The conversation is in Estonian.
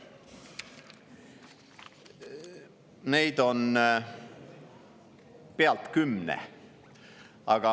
Neid on pealt kümne.